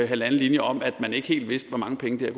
halvanden linje om at man ikke helt vidste hvor mange penge det